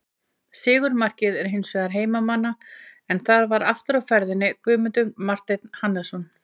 Sigurmarkið var hins vegar heimamanna en þar var aftur á ferðinni Guðmundur Marteinn Hannesson.